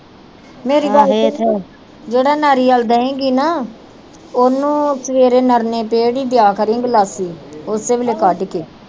ਮੇਰੀ ਗੱਲ ਸੁਣ ਜਿਹੜਾ ਨਾਰੀਅਲ ਦਏ ਗੀ ਨਾ ਓਹਨੂੰ ਸਵੇਰੇ ਨਿਰਣੇ ਪੇਟ ਈ ਦਿਆ ਕਰੀ ਗਿਲਾਸੀ ਓਸੇ ਵੇਲੇ ਕਡ ਕੇ।